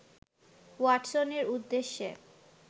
ওয়াটসনের উদ্দেশ্যে